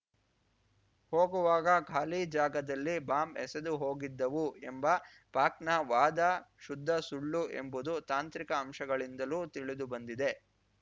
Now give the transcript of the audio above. ಹೋಗುವಾಗ ಖಾಲಿ ಜಾಗದಲ್ಲಿ ಬಾಂಬ್‌ ಎಸೆದು ಹೋಗಿದ್ದವು ಎಂಬ ಪಾಕ್‌ನ ವಾದ ಶುದ್ಧ ಸುಳ್ಳು ಎಂಬುದು ತಾಂತ್ರಿಕ ಅಂಶಗಳಿಂದಲೂ ತಿಳಿದುಬಂದಿದೆ